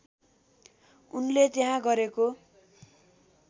उनले त्यहाँ गरेको